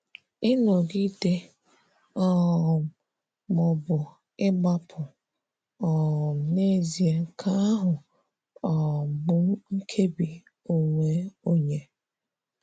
Ịnọgide um ma ọ bụ ị gbapụ; um n'ezie, nke ahụ um bụ nkébi onwe onye.